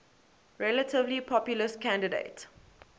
relatively populist candidate